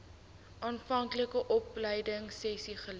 aanvanklike opleidingsessies geleer